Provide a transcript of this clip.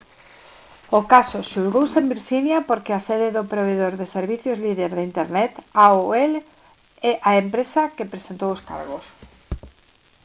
o caso xulgouse en virxinia porque é a sede do provedor de servizos líder de internet aol a empresa que presentou os cargos